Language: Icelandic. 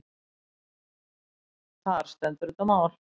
Þar stendur þetta mál.